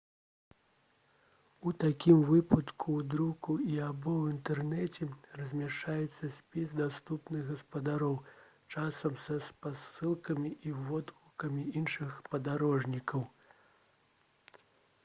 у такім выпадку ў друку і/або ў інтэрнэце размяшчаецца спіс даступных гаспадароў часам са спасылкамі і водгукамі іншых падарожнікаў